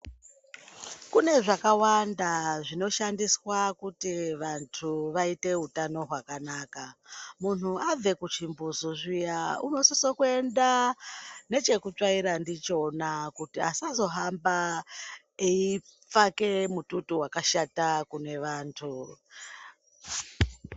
Kune zvakawanda zvinoshandiswa kuti vantu vaite utano hwakanaka muntu abve kuchimbuzi zviya unosise kuenda ngechekutsvaira ndichona kuti asazohamba eipfake mututu wakashata kune vantu.